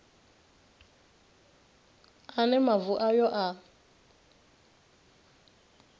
a ne mavu ayo a